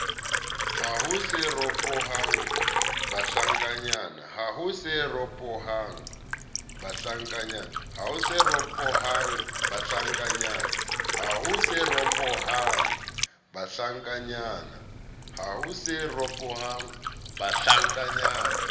haho se ho ropoha bahlankanyana